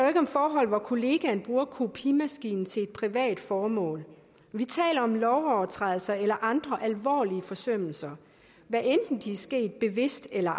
om forhold hvor kollegaen bruger kopimaskinen til et privat formål vi taler om lovovertrædelser eller andre alvorlige forsømmelser hvad enten de er sket bevidst eller